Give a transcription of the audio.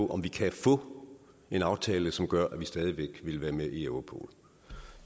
om vi kan få en aftale som gør at vi stadig væk vil være med i europol